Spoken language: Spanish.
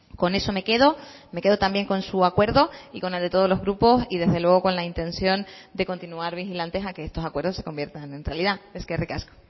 con eso me quedo me quedo también con su acuerdo y con el de todos los grupos y desde luego con la intención de continuar vigilantes a que estos acuerdos se conviertan en realidad eskerrik asko